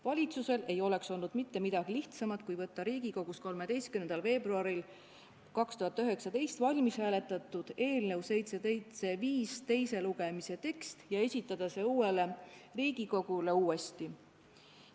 Valitsusel ei oleks olnud mitte midagi lihtsamat kui võtta Riigikogus 13. veebruaril 2019 läbihääletatud eelnõu 775 teise lugemise tekst ja esitada see uuele Riigikogule uuesti.